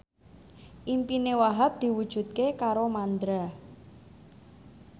impine Wahhab diwujudke karo Mandra